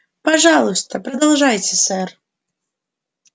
пожалуйста продолжайте сэр